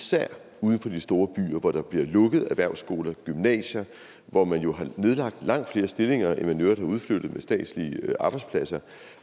især uden for de store byer hvor der bliver lukket erhvervsskoler og gymnasier og hvor man jo har nedlagt langt flere stillinger end man i øvrigt har udflyttet med statslige arbejdspladser